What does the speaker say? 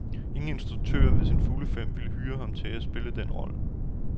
Ingen instruktør ved sine fulde fem ville hyre ham til at spille den rolle.